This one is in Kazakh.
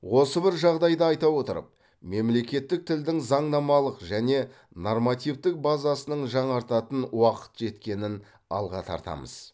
осы бір жағдайды айта отырып мемлекеттік тілдің заңнамалық және нормативтік базасының жаңартатын уақыт жеткенін алға тартамыз